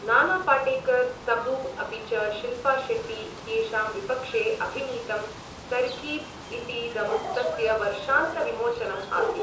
नाना पाटेकर्, तबू अपि च शिल्पा शेट्टी इत्येषां विपक्षे अभिनीतं तरकीब इतीदं तस्य वर्षान्तविमोचनम् आसीत्।